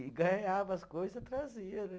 E ganhava as coisa, trazia, né?